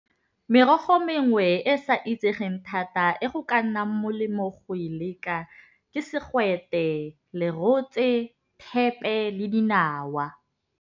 Merogo e mengwe e e sa itsegeng thata e go ka nnang molemo go e leka ke segwete, lerotse, thepe le dinawa.